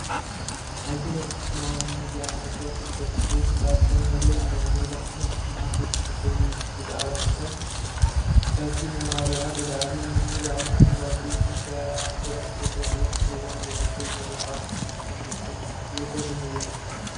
ኣብዚ ናይ ኣኽሱማውያን ሚድያ ኔት ዎርክ ገፅ ግደይ ዝበሃል ሰብ ንርኢ ኣለና፡፡ መብዛሕትና እቶም ኣብ ደገ ኮይኖም ብዛዕባ ትግራይ ካብቲ ነባሪኣ ብላዕሊ ነንባዕሎም ዝዋግኡን እንጀራ ዝረኽብሉ ልኡኽ ዘዋግኦም ዘሎ ምዃኖም ኣይንፈልጥን፡፡ ዝገርም እዩ፡፡